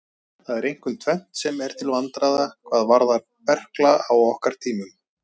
Það er einkum tvennt sem er til vandræða hvað varðar berkla á okkar tímum.